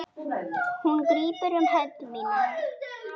Hún grípur um hönd mína.